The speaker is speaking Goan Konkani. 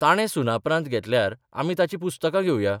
ताणे सुनापरान्त घेतल्यार आमी ताचीं पुस्तकां घेवया.